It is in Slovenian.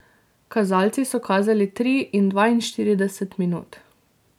Kazalci so kazali tri in dvainštirideset minut.